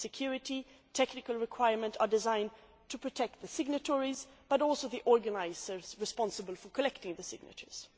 The security and technical requirements are designed to protect not only the signatories but also the organisers responsible for collecting signatures.